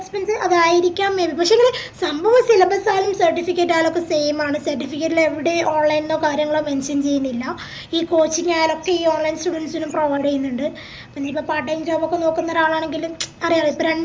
expense അതായിരിക്കാം പക്ഷേങ്കില് സംഭവ syllabus ആയാലും certificate ആയാലും ഒക്കെ same ആണ് certificate ഇലേവിടേം online ന്നോ കാര്യങ്ങളോ mention ചെയ്യുന്നില്ല ഈ coaching ആയാലൊക്കെ ഈ online students നും provide ചെയ്യുന്നുണ്ട് ഇനീപ്പോ part time job ഒക്കെ നോക്കുന്നൊരാളാണെങ്കിലും മ്ച് അറിയാലോ